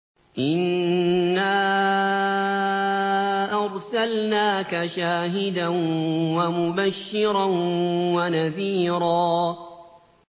إِنَّا أَرْسَلْنَاكَ شَاهِدًا وَمُبَشِّرًا وَنَذِيرًا